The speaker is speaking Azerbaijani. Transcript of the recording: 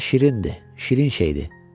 Nəvə şirindi, şirin şeydi.